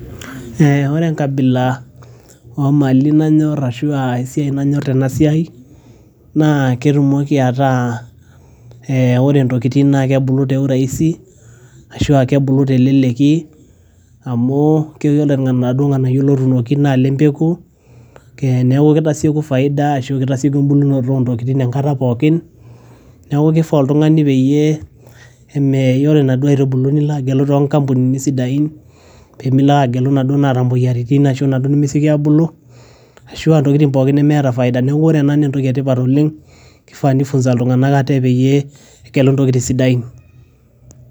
ee ore enkabila omali nanyorr ashua esiai nanyorr tenasiai naa ketumoki ataa eh ore intokitin naa kebulu te urahisi ashua kebulu teleleki amu keore iladuo ng'anayio lotuunoki naa ile mpeku kee naa kitasieku faida ashu kitasieku embulunoto ontokitin enkata pookin neeku kifaa oltung'ani peyie eme ore inaduo aitubulu nilo agelu tonkampunini sidain pemilo ake agelu inaduo naata imoyiaritin ashu inaduo nemesioki abulu ashua intokitin pookin nemeeta faida neeku ore ena naa entoki etipat oleng kifaa nifunza iltung'anak ate payie egelu intokitin sidain.